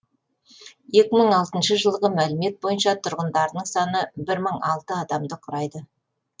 екі мың алтыншы жылғы мәліметтер бойынша тұрғындарының саны бір мың алты адамды құрайды